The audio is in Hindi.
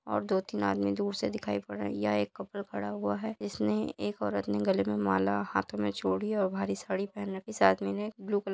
और दो-तीन आदमी दूर से दिखाई पड़ रहे हैं यहाँ एक कपल खड़ा हुआ है जिसने एक औरत ने गले में माला हाथों में चूड़ी और भारी साड़ी पहन रखी है इस आदमी ने ब्ल्यू कलर --